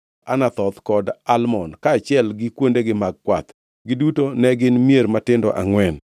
Anathoth kod Almon, kaachiel gi kuondegi mag kwath. Giduto ne gin mier matindo angʼwen.